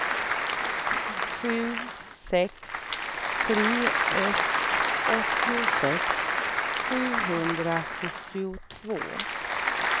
sju sex tre ett åttiosex sjuhundrasjuttiotvå